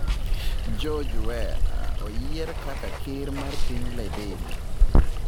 George Weah oyiere kaka Ker mar Piny Liberia